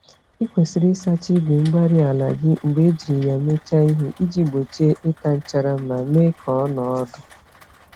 Ị kwesịrị ịsacha igwe-mgbárí-ala gị mgbe ejiri ya mechaa ihe iji gbochie ịta nchara ma mee ka ọnọọ ọdụ